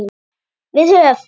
Við höf